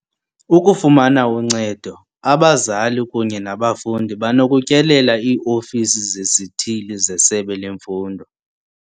Ukufumana uncedo, abazali kunye nabafundi banokutyelela ii-ofisi zezithili zesebe lemfundo.